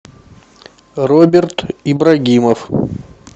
роберт ибрагимов